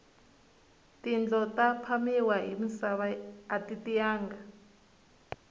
tindlo ta phamiwa hi misava ati tiyanga